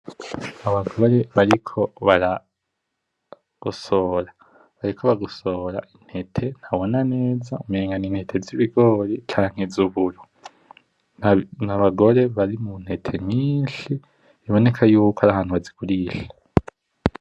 Abagore bariko baragosora, bariko bagosora intete ntabona neza, umengo ni ntete zibigori canke zuburo. N'abagore bari muntete nyinshi biboneka yuko ari ahantu bazigurisha.